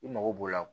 I mago b'o la